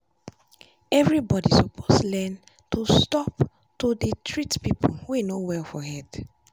everybody suppose learn to stop to dey treat people wey no well for head